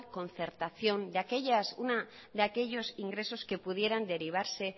concertación de aquellos ingresos que pudieran derivarse